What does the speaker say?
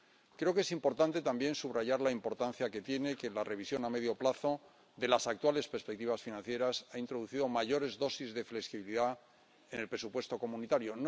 Creo que es importante también subrayar la importancia que tiene que la revisión a medio plazo de las actuales perspectivas financieras haya introducido mayores dosis de flexibilidad en el presupuesto comunitario